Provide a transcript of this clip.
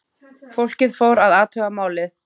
Fólkið fór að athuga málið.